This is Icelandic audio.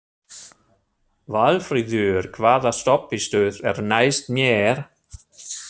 Valfríður, hvaða stoppistöð er næst mér?